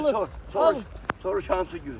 Bu gün ad günümdür.